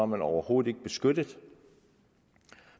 man overhovedet ikke beskyttet